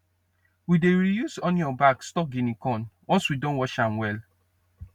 we dey reuse onion bag store guinea corn once we don wash am well